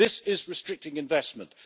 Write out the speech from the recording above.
This is restricting investment.